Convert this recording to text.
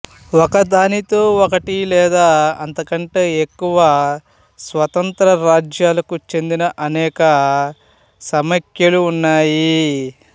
ఒకదానితో ఒకటి లేదా అంతకంటే ఎక్కువ స్వతంత్ర రాజ్యాలకు చెందిన అనేక సమాఖ్యలు ఉన్నాయి